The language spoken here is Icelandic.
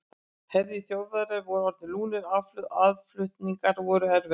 Herir Þjóðverja voru orðnir lúnir og aðflutningar voru erfiðir.